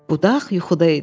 Budaq yuxuda idi.